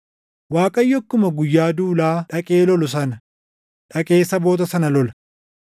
Waaqayyo akkuma guyyaa duulaa dhaqee lolu sana, dhaqee saboota sana lola.